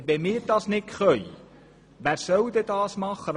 Wenn wir das nicht können, wer soll es dann tun?